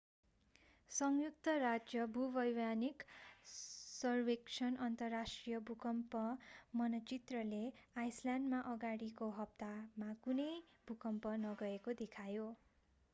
संयुक्त राज्य भूवैज्ञानिक सर्वेक्षण अन्तर्राष्ट्रिय भूकम्प मानचित्रले आइसल्यान्डमा अगाडिको हप्तामा कुनै भूकम्प नगएको देखायो